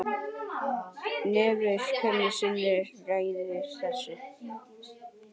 Nefndin hverju sinni ræður þessu.